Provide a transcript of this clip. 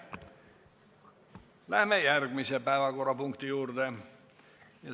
Läheme järgmise päevakorrapunkti juurde.